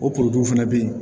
O fana bɛ yen